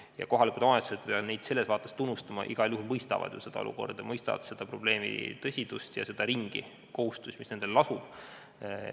Ja ma pean siin kohalikke omavalitsusi tunnustama, et nad igal juhul mõistavad seda olukorda, mõistavad selle probleemi tõsidust ja seda kohustust, mis nendel lasub.